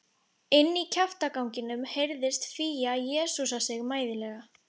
Inní kjaftaganginum heyrðist Fía jesúsa sig mæðulega.